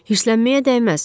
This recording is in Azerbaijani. Hirsənməyə dəyməz.